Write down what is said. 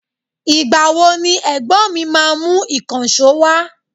Ìgbà wo ni ẹ̀gbọ́n mi máa mú ìkànsó wa?